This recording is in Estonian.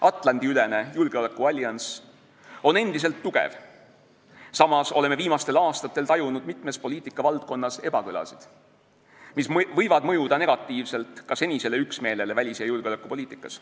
Atlandi-ülene julgeolekuallianss on endiselt tugev, samas oleme viimastel aastatel tajunud mitmes poliitikavaldkonnas ebakõlasid, mis võivad mõjuda negatiivselt ka senisele üksmeelele välis- ja julgeolekupoliitikas.